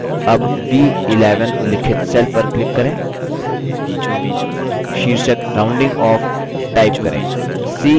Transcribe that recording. अब b11 उल्लिखित cell पर click करें शीर्षक rounding off type करें